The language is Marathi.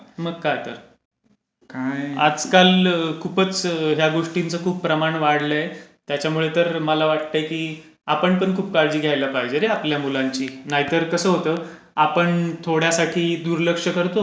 मग काय तर. आजकाल खूपच ह्या गोष्टींचं खूप प्रमाण वाढलंय. त्याच्यामुळे तर माला वाटतंय की आपण पण खूप काळजी घ्यायला पाहिजे रे आपल्या मुलांची नाहीतर कसं होतं आपण थोड्यासाठी दुर्लक्ष करतो